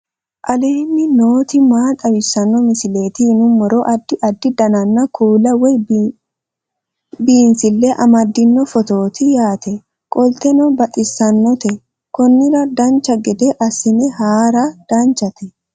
aleenni nooti maa xawisanno misileeti yinummoro addi addi dananna kuula woy biinsille amaddino footooti yaate qoltenno baxissannote konnira dancha gede assine haara danchate